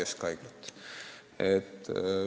Siiski jäi kaks keskhaiglat.